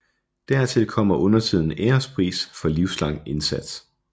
Dertil kommer undertiden ærespris for livslang indsats